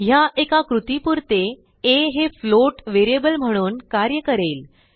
ह्या एका कृतीपुरते आ हे फ्लोट व्हेरिएबल म्हणून कार्य करेल